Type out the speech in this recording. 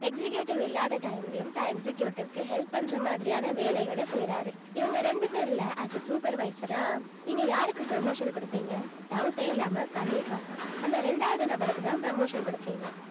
executive இல்லாத time லயும் தான் executive க்கு help பண்ற மாதிரியான வேலைகளை செய்யறாரு இவங்க ரெண்டு பேர்ல as a supervisor ஆ நீங்க யாருக்கு promotion கொடுப்பீங்க doubt ஏ இல்லாம கண்டிப்பா அந்த இரண்டாவது நபருக்குதான் promotion குடுப்பீங்க